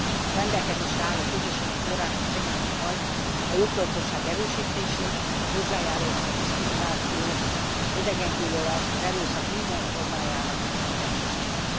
A rendelkezésre álló közösségi források segítik majd a jogtudatosság erősítését, hozzájárulnak a diszkrimináció, az idegengyűlölet, az erőszak minden formájának megszüntetéséhez.